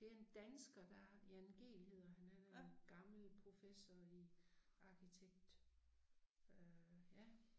Det en dansker der Jan Gehl hedder han han er en gammel professor i arkitekt øh ja